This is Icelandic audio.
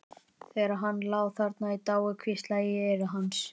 Þegar hann lá þarna í dái hvíslaði ég í eyra hans.